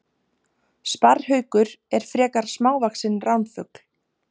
Sparrhaukur er frekar smávaxinn ránfugl.